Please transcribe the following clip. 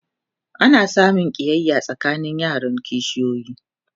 ana samun ƙiyaya tsakanin yaran kishiyoyi